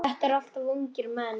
Þetta eru allt ungir menn.